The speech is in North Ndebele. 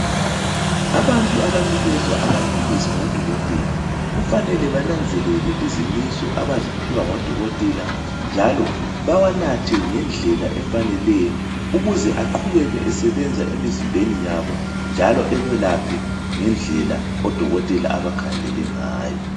Abantu abanikezwa amaphilisi ngodokotela, kufanele bananzelele izimiso abaziphiwa ngodokotela njalo bawanathe ngendlela efaneleyo ukuze aqhubeke esebenza emizimbeni yabo njalo ebelaphe ngendlela odokotela abakhangelele ngayo.